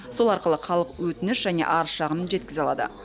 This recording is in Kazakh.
сол арқылы халық өтініш және арыз шағымын жеткізе алады